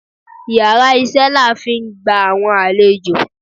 íyarà iṣẹ la n fi gba awọn alèjọ